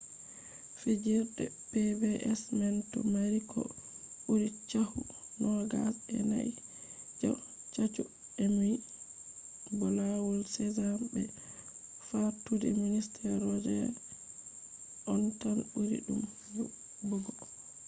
fijirde pbs man do mari ko buri chahu nogas e nai je chahu emmy bo lawol sesame be fattude mister roger on tan buri dum nebugo